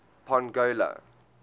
pongola